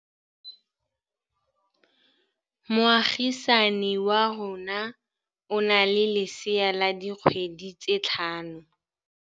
Moagisane wa rona o na le lesea la dikgwedi tse tlhano.